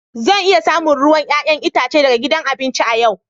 Zan iya samun ruwan 'ya'yan itace daga gidan abinci a yau.